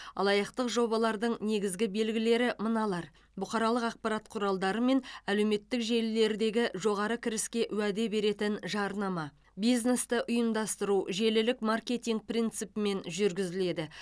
алаяқтық жобалардың негізгі белгілері мыналар бұқаралық ақпарат құралдары мен әлеуметтік желілердегі жоғары кіріске уәде беретін жарнама бизнесті ұйымдастыру желілік маркетинг принципімен жүргізіледі